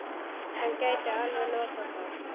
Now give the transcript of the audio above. Hann gæti alveg notað þá.